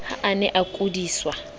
ha a ne a kudiswa